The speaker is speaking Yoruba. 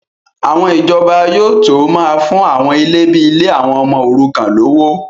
àwọn ìjọba yóò tó máa fún àwọn ilé bíi ilé àwọn ọmọ òrukàn lówó